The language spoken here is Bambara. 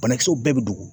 Banakisɛw bɛɛ bɛ dogo